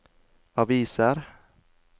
aviser